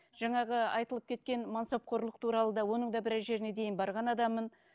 жаңағы айтылып кеткен мансапқорлық туралы да оның да біраз жеріне дейін барған адаммын